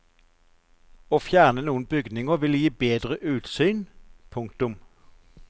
Å fjerne noen bygninger ville gi bedre utsyn. punktum